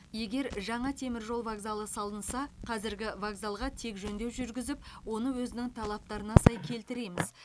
егер жаңа теміржол вокзалы салынса қазіргі вокзалға тек жөндеу жүргізіп оны өзінің талаптарына сай келтіреміз